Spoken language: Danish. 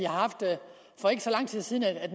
for ikke så lang tid siden her i